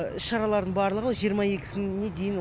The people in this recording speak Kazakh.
шаралардың барлығы жиырма екісіне дейін